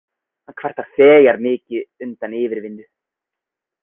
Hann kvartar þegar mikið undan yfirvinnu.